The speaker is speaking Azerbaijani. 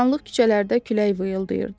Qaranlıq küçələrdə külək vıyıqdıydı.